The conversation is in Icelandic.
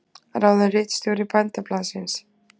Ráðinn ritstjóri Bændablaðsins